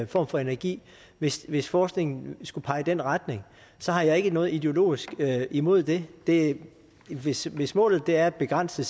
form for energi hvis hvis forskningen skulle pege i den retning så har jeg ikke noget ideologisk imod det det hvis hvis målet er at begrænse